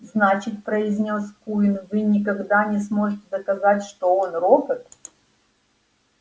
значит произнёс куинн вы никогда не сможете доказать что он робот